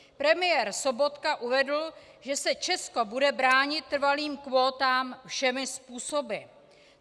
Premiér Sobotka uvedl, že se Česko bude bránit trvalým kvótám všemi způsoby.